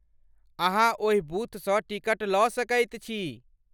अहाँ ओहि बूथसँ टिकट लऽ सकैत छी।